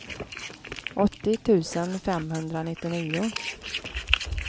åttio tusen femhundranittionio